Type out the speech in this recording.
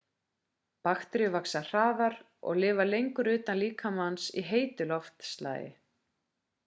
bakteríur vaxa hraðar og lifa lengur utan líkamans í heitu loftslagi